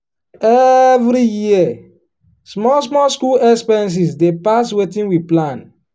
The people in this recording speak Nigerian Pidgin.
every year small small school expenses dey pass wetin we plan.